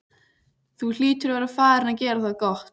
Þú hlýtur að vera farinn að gera það gott!